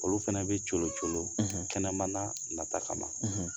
Olu fana bɛ colocolo kɛnɛ mana nata kama